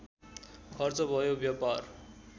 खर्च भयो व्यापार